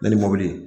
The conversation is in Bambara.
Ne ni mobili